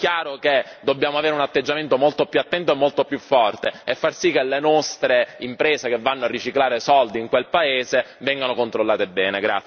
È chiaro che dobbiamo avere un atteggiamento molto più attento e molto più forte e far sì che le nostre imprese, che vanno a riciclare soldi in quel paese, vengano controllate bene.